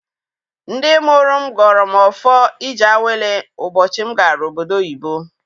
Ndị mụrụ m gọrọ m ọfọ ije awele ụbọchị m gara obodo oyibo.